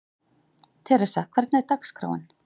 Theresa, hvernig er dagskráin?